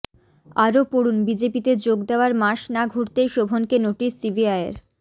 আরও পড়ুন বিজেপিতে যোগ দেওয়ার মাস না ঘুরতেই শোভনকে নোটিশ সিবিআইয়ের